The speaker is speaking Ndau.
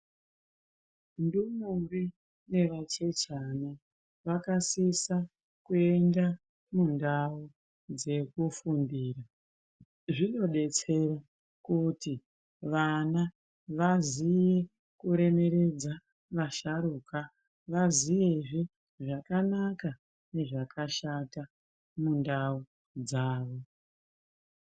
Tsikombi nevachechana vakasisa kuenda mundau dzekufundira zvinodetsera kuti vana vaziye kuremeredza vasharuka Vaziyezve zvakanaka nezvakashata mundau dzawo.